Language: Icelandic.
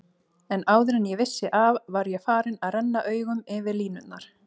En áður en ég vissi af var ég farinn að renna augunum yfir línurnar.